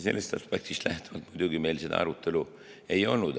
Sellest aspektist lähtuvalt muidugi meil seda arutelu ei olnud.